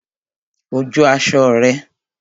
Ó jó aṣọ rẹ̀